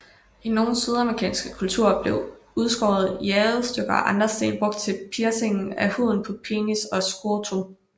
I nogle sydamerikanske kulturer blev udskårne jadestykker eller andre sten brugt til piercing af huden på penis og scrotum